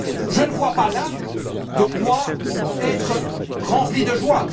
Je ne vois pas là de quoi être rempli de joie.